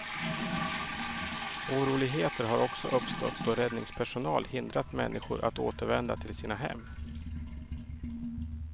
Oroligheter har också uppstått då räddningspersonal hindrat människor att återvända till sina hem.